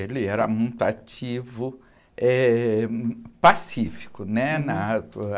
Ele era muito ativo, eh, pacífico, né? Na...